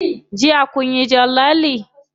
Jiya kunyi jan lalle?